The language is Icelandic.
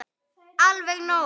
Alveg nóg.